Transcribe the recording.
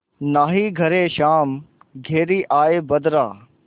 नाहीं घरे श्याम घेरि आये बदरा